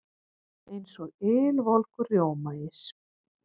Eins og ylvolgur rjómaís.